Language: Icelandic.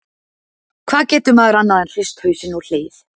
Hvað getur maður annað en hrist hausinn og hlegið?